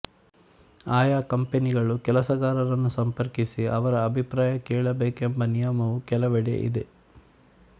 ಆಯಾ ಕಂಪನಿಗಳು ಕೆಲಸಗಾರರನ್ನು ಸಂಪರ್ಕಿಸಿ ಅವರ ಅಭಿಪ್ರಾಯ ಕೇಳಬೇಕೆಂಬ ನಿಯಮವೂ ಕೆಲವೆಡೆ ಇದೆ